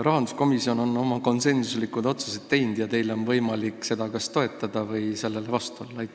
Rahanduskomisjon on oma konsensusliku otsuse teinud ja teil on võimalik seda kas toetada või sellele vastu olla.